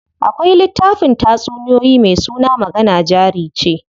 Akwai littafin tatsuniyoyi me suna magana jari ce.